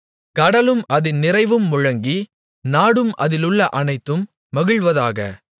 கடலும் அதின் நிறைவும் முழங்கி நாடும் அதிலுள்ள அனைத்தும் மகிழ்வதாக